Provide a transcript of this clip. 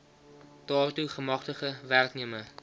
daartoe gemagtigde werknemer